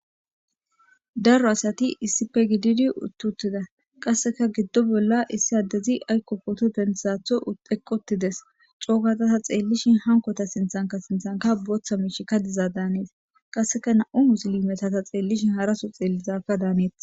Daro asati issife gididi uttutida qasseka giddo bolla issi addezi aykko booto dentzatho eqqotides cookatata xeellishin hankota sinthanka sinthanka booththa miish ka diza daanees qasseka na7u musili metata xeellishin haraso xeellizaka daaneetes.